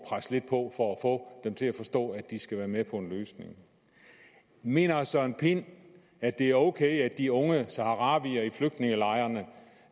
presse lidt på for at få dem til at forstå at de skal være med på en løsning mener herre søren pind at det er ok at de unge saharawier i flygtningelejrene